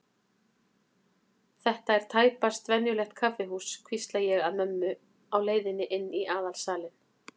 Þetta er tæpast venjulegt kaffihús, hvísla ég að mömmu á leiðinni inn í aðalsalinn.